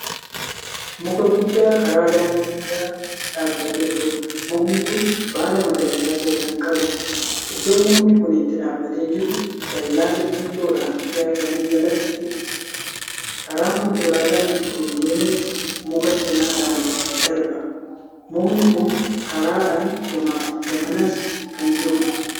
Muka guddaa karaa daangaa dhaabatee jiruudha. mukni Kuni baala magariisa ta'e Kan qabuudha. iddoon mukni Kuni itti dhaabbatee jiru dallaa simintoodhaan ijaarame jalattiidha. karaan konkolaataan ittiin deemuuf muka cinaadhaan darba. mukni Kuni karaadhaan gamaafi gamanas Kan jiruudha.